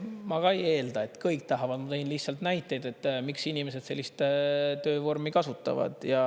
Ma ka ei eelda, et kõik tahavad, ma tõin lihtsalt näiteid, miks inimesed sellist töövormi kasutavad.